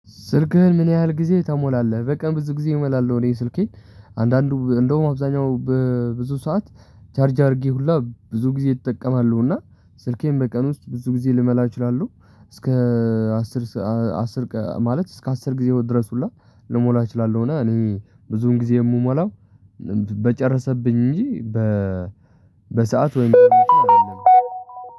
ስልክህን ምን ያህል ጊዜ ተሞላለህ? በቃ ብዙ ጊዜ እመላለሁ እኔ ስልኬን አንዳንዱ እንደውም አብዛኛው በብዙ ሰዓት ቻርጅ አድርጌ ሁላ ብዙ ጊዜ እጠቀማሉ እና ስልኬን በቀን ውስጥ ብዙ ጊዜ ልመላ እችላለሁ። እስከ አስር አስር ማለት እስከ አስር ጊዜ ድረስ ሁላ ልሞላ እችላለሁ። እና እኔ ብዙን ጊዜ የምሞላው በጨረሰብኝ እንጂ በ በሰአት ወይም በምትሉ አይደለም።